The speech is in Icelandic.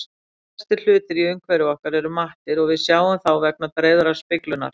Flestir hlutir í umhverfi okkar eru mattir og við sjáum þá vegna dreifðrar speglunar.